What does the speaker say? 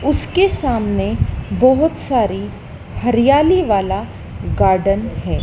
उसके सामने बहोत सारी हरियाली वाला गार्डन हैं।